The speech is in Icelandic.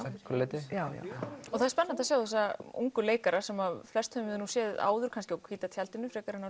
einhverju leyti það er spennandi að sjá þessa ungu leikara sem flest höfum við séð áður kannski á hvíta tjaldinu frekar en á